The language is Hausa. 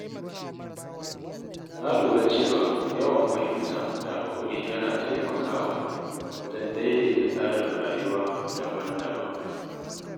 Na lura cewa yawan fahimta da haƙuri yana taimakawa wajen daidaita tsarin rayuwa daban-daban.